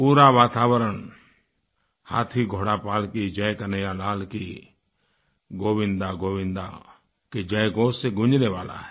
पूरा वातावरण हाथी घोड़ा पालकी जय कन्हैयालाल की गोविन्दागोविन्दा की जयघोष से गूँजने वाला है